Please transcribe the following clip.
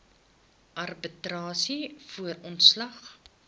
arbitrasie voor ontslag